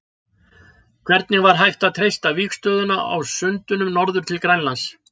Hvernig var hægt að treysta vígstöðuna á sundunum norður til Grænlands?